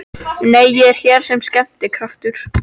Nei, ég er hér sem skemmtikraftur